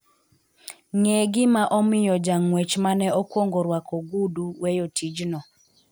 ng'e gima omiyo jang'uech mane okuongo rwako ogudu weyo tijno